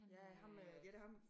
Ja ham med ja det ham